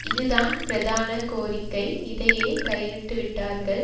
இதுதான் பிரதான கோரிக்கை இதையே கை விட்டு விட்டார்கள்